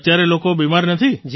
અત્યારે લોકો બીમાર નથી